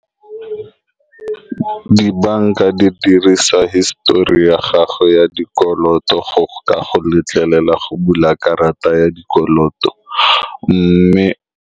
Dibanka di dirisa hisitori ya gago ya dikoloto, go ka go letlelela go bula karata ya dikoloto mme.